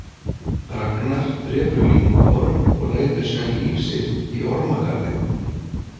Ragnar drepur lyngorm og lætur síðan líf sitt í ormagarði.